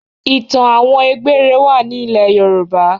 Ìtàn àwọn egbere wá ní ilè yorùbá.